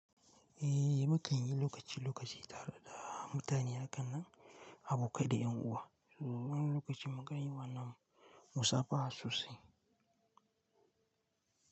Ehh mukan yi lokaci lokaci tare da mutane hakannan, abokai da yan uwa. Wani lokaci mukan yi wannan musafaha sosai.